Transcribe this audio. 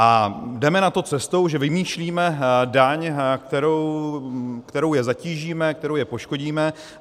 A jdeme na to cestou, že vymýšlíme daň, kterou je zatížíme, kterou je poškodíme.